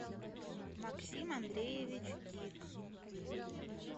максим андреевич дик